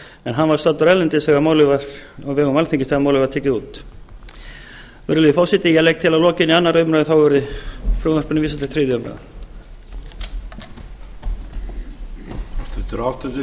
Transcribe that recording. en hann var staddur erlendis á vegum alþingis þegar málið var tekið út virðulegi forseti ég legg til að að lokinni annarri umræðu verði frumvarpinu vísað til þriðju umræðu